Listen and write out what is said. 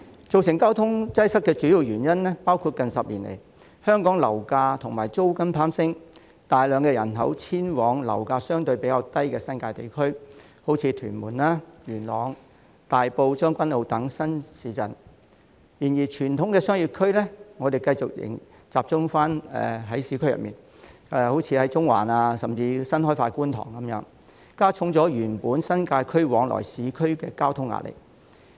造成交通擠塞的主要原因是，近10年來，香港樓價及租金攀升，大量人口遷往樓價相對較低的新界地區，例如屯門、元朗、大埔、將軍澳等新市鎮；但傳統商業區仍然集中在市區，例如中環，甚至新開發的觀塘，加重原本新界區往來市區的交通壓力。